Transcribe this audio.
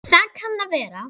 Það kann að vera